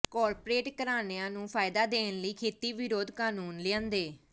corporate ਘਰਾਂਣਿਆਂ ਨੂੰ ਫਾਇਦਾ ਦੇਣ ਲਈ ਖੇਤੀ ਵਿਰੋਧੀ ਕਾਨੂੰਨ ਲਿਆਂਦੇ